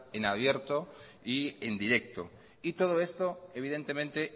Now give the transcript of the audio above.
en abierto y en directo y todo esto evidentemente